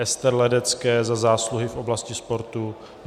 Ester Ledecké za zásluhy v oblasti sportu